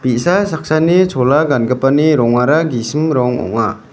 bi·sa saksani chola gangipani rongara gisim rong ong·a.